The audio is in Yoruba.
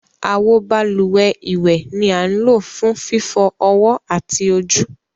Awo bálúwẹ̀ iwẹ ni a ń lo fun fifọ ọwọ ati ojú.